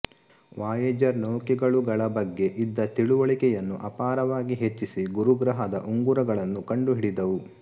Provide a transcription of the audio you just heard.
Voyager ನೌಕೆಗಳು ಗಳ ಬಗ್ಗೆ ಇದ್ದ ತಿಳುವಳಿಕೆಯನ್ನು ಅಪಾರವಾಗಿ ಹೆಚ್ಚಿಸಿ ಗುರುಗ್ರಹದ ಉಂಗುರಗಳನ್ನು ಕಂಡುಹಿಡಿದವು